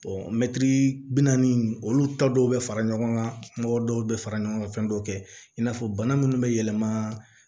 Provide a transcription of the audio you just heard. bi naani olu ta dɔw bɛ fara ɲɔgɔn kan kuma dɔw bɛ fara ɲɔgɔn kan fɛn dɔw kɛ in n'a fɔ bana minnu bɛ yɛlɛma